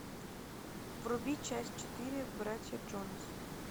вруби часть четыре братья джонас